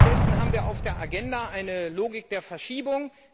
Stattdessen haben wir auf der Agenda eine Logik der Verschiebung.